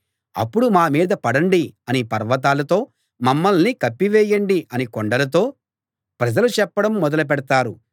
అప్పుడు మా మీద పడండి అని పర్వతాలతో మమ్మల్ని కప్పివేయండి అని కొండలతో ప్రజలు చెప్పడం మొదలుపెడతారు